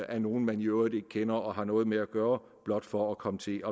af nogle man i øvrigt ikke kender og har noget med at gøre blot for at komme til